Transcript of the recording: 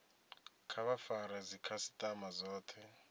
kha vha fare dzikhasitama dzothe